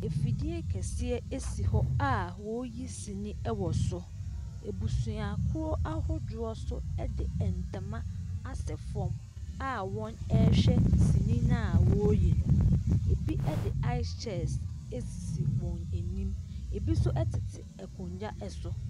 Afidie kɛseɛ si hɔ a wɔreyi sini wɔ so. Abusuakuo ahodoɔ nso de nntoma asɛ fam a wɔrehwɛ sini no a wɔreyi no. Bi de ice chest sisi wɔn anim. Ɛbi nso tete akonnwa so.